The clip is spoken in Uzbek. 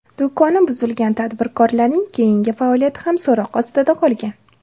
Do‘koni buzilgan tadbirkorlarning keyingi faoliyati ham so‘roq ostida qolgan.